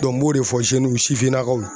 n b'o de fɔ sifinnakaw ye.